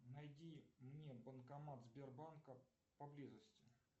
найди мне банкомат сбербанка поблизости